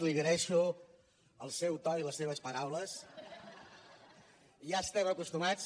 li agraeixo el seu to i les seves paraules ja hi estem acostumats